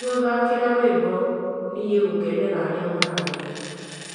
kĩmani gũthaaka niĩ rwĩmbo gũkena kũgerera arĩa mararia